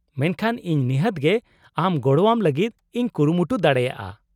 -ᱢᱮᱱᱠᱷᱟᱱ ᱤᱧ ᱱᱤᱦᱟᱹᱛ ᱜᱮ ᱟᱢ ᱜᱚᱲᱚᱣᱟᱢ ᱞᱟᱹᱜᱤᱫ ᱤᱧ ᱠᱩᱨᱩᱢᱩᱴᱩ ᱫᱟᱲᱮᱭᱟᱜᱼᱟ ᱾